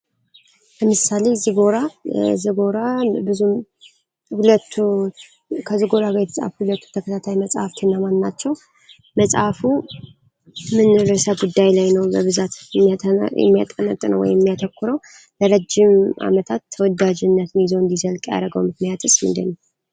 በምሳሌ ዝጎራ ብዙ ከዝጎራ የተጻሐፉ ሁለቱ ተከታታይ መጽሀፍ እነማን ናቸው? መጽሐፉ ምንርሰት ጉዳይ ላይ ነው ብዛት የሚያጠነብጥነው ወይም የሚያተኮረው ለረዥም ዓመታት ተወዳጅነት ይዘው እንዲዘልቅ ያረገው ምክመያትስ ምንድነው?